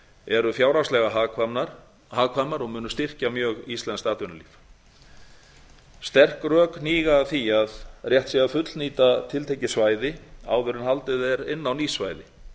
eru fjárhagslega hagkvæmar og munu styrkja mjög íslenskt atvinnulíf sterk rök hníga að því að rétt sé að fullnýta tiltekið svæði áður en haldið er inn á ný svæði